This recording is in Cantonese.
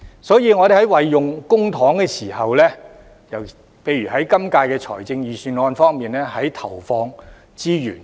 所以，我們在運用公帑時，例如在今次預算案中決定如何投放資源方面，應當注意。